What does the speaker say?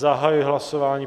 Zahajuji hlasování.